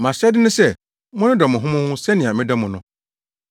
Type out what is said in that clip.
Mʼahyɛde ne sɛ monnodɔ mo ho mo ho sɛnea medɔ mo no.